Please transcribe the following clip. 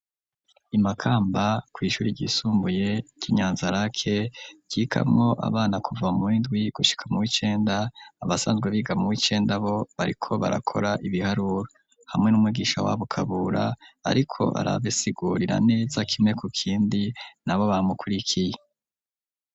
I Makamba kw'ishuri ryisumbuye ry'i Nyanza-lac, ryigamwo abana kuva muw'indwi gushika mu w'icenda, abasanzwe biga mu w'icenda bo bariko barakora ibiharuro, hamwe n'umugisha wabo Kabura ariko arabasigurira neza kimwe ku kindi, nabo bamukurikiye.